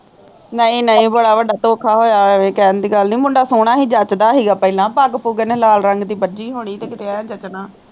ਨਹੀਂ ਨਹੀਂ ਬੜਾ ਵੱਡਾ ਧੋਖਾ ਹੋਇਆ ਕਹਿਣ ਦੀ ਗੱਲ ਨੀ ਮੁੰਡਾ ਸੋਹਣਾ ਹੀ ਜੱਚਦਾ ਹੀ ਗਾ ਪਹਿਲਾਂ ਪੱਗ ਪੁਗ ਇਨੇ ਲਾਲ ਰੰਗ ਦੀ ਬਜੀ ਹੁਣੀ ਤੇ ਕਿੱਤੇ ਐਂ ਜਚਨਾ।